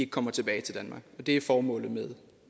kommer tilbage til danmark det er formålet med